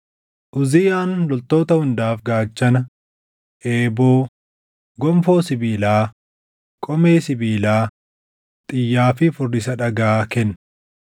Uziyaan loltoota hundaaf gaachana, eeboo, gonfoo sibiilaa, qomee sibiilaa, xiyyaa fi furrisa dhagaa kenne.